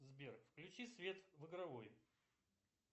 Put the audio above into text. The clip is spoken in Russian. сбер включи свет в игровой